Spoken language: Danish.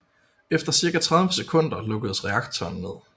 Efter cirka 30 sekunder lukkedes reaktoren ned